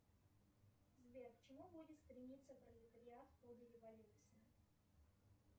сбер к чему будет стремиться пролетариат в ходе революции